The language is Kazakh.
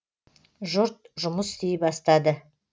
жұрт жұмыс істей бастады